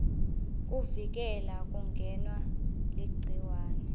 kuvikela kungenwa ligciwane